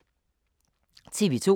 TV 2